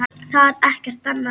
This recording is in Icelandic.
Það er ekkert annað.